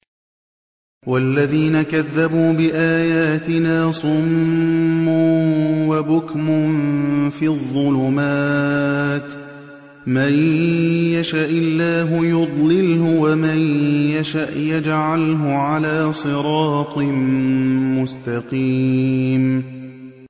وَالَّذِينَ كَذَّبُوا بِآيَاتِنَا صُمٌّ وَبُكْمٌ فِي الظُّلُمَاتِ ۗ مَن يَشَإِ اللَّهُ يُضْلِلْهُ وَمَن يَشَأْ يَجْعَلْهُ عَلَىٰ صِرَاطٍ مُّسْتَقِيمٍ